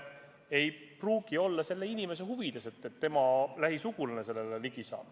Ei pruugi olla inimese huvides, et tema lähisugulane vastava info kätte saab.